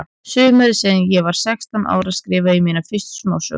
Sumarið sem ég var sextán ára skrifaði ég mína fyrstu smásögu.